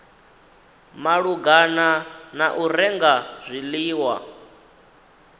malugana na u renga zwiḽiwa